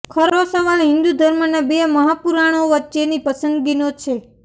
ખરો સવાલ હિન્દુ ધર્મના બે મહાપુરાણો વચ્ચેની પસંદગીનો છે